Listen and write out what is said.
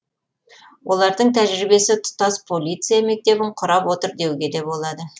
олардың тәжірибесі тұтас полиция мектебін құрап отыр деуге де болады